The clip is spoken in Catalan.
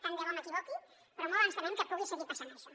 tant de bo m’equivoqui però molt ens temem que pugui seguir passant això